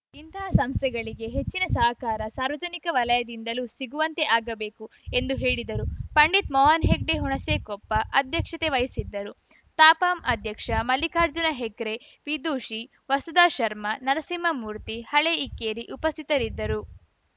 ಇಂತಹ ಸಂಸ್ಥೆಗಳಿಗೆ ಹೆಚ್ಚಿನ ಸಹಕಾರ ಸಾರ್ವಜನಿಕ ವಲಯದಿಂದಲೂ ಸಿಗುವಂತೆ ಆಗಬೇಕು ಎಂದು ಹೇಳಿದರು ಪಂಡಿತ್‌ ಮೋಹನ್‌ ಹೆಗಡೆ ಹುಣಸೆಕೊಪ್ಪ ಅಧ್ಯಕ್ಷತೆ ವಹಿಸಿದ್ದರು ತಾಪಂ ಅಧ್ಯಕ್ಷ ಮಲ್ಲಿಕಾರ್ಜುನ ಹೆಕ್ರೆ ವಿದುಷಿ ವಸುಧಾ ಶರ್ಮ ನರಸಿಂಹಮೂರ್ತಿ ಹಳೇ ಇಕ್ಕೇರಿ ಉಪಸ್ಥಿತರಿದ್ದರು